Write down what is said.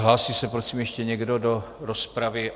Hlásí se prosím ještě někdo do rozpravy?